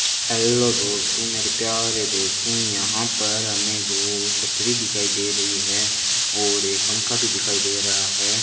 Hello दोस्तों मेरे प्यारे दोस्तों यहां पर हमें दो छतरी दिखाई दे रही है और ये पंखा भी दिखाई दे रहा है।